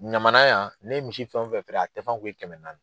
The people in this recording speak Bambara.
Ɲamana yan ne ye misi fɛn o fɛn feere, a tɛfan kun ye kɛmɛ naani.